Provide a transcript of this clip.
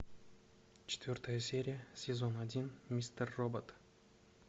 четвертая серия сезон один мистер робот